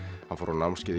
hann fór á